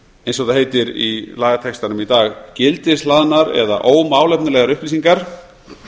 eins og það heitir í lagatextanum í dag gildishlaðnar eða ómálefnalegar upplýsingar